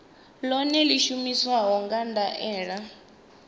ḽeneḽo ḽi shumiswa nga nḓilaḓe